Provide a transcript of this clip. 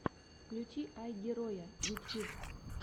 включи айгероя ютьюб